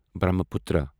Brahmaputra